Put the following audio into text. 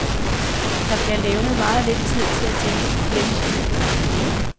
Der bliver levnet meget lidt tid til at tænke på kirkens liv lokalt.